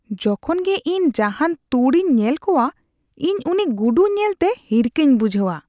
ᱡᱚᱠᱷᱚᱱ ᱜᱮ ᱤᱧ ᱡᱟᱦᱟᱱ ᱛᱩᱲᱤᱧ ᱧᱮᱞ ᱠᱚᱣᱟ, ᱤᱧ ᱩᱱᱤ ᱜᱩᱰᱩ ᱧᱮᱞᱛᱮ ᱦᱤᱨᱠᱟᱹᱧ ᱵᱩᱡᱷᱟᱹᱣᱟ ᱾ (ᱦᱚᱲ ᱒)